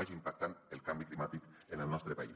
vagi impactant el canvi climàtic en el nostre país